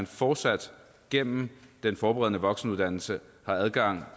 fortsat gennem den forberedende voksenuddannelse har adgang